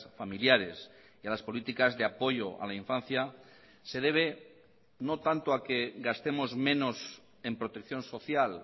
familiares y a las políticas de apoyo a la infancia se debe no tanto a que gastemos menos en protección social